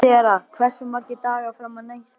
Sera, hversu margir dagar fram að næsta fríi?